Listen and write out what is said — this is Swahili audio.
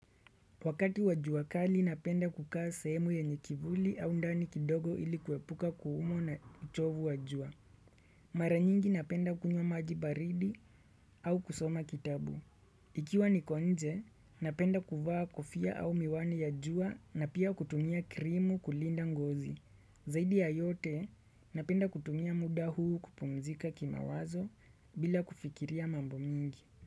Wakati wajua kali napenda kukaa sehemu yenye kivuli au ndani kidogo ili kuepuka kuumwa na uchovu wajua. Maranyingi napenda kunywa maji baridi au kusoma kitabu. Ikiwa nikonje, napenda kuvaa kofia au miwani ya jua na pia kutumia krimu kulinda ngozi. Zaidi ya yote, napenda kutumia muda huu kupumzika kima wazo bila kufikiria mambo mingi.